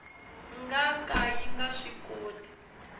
nga ka yi nga swikoti